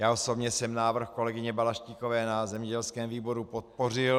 Já osobně jsem návrh kolegyně Balaštíkové na zemědělském výboru podpořil.